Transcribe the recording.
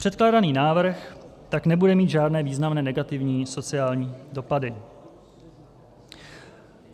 Předkládaný návrh tak nebude mít žádné významné negativní sociální dopady.